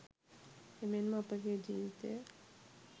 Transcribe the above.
එමෙන්ම අපගේ් ජීවිතය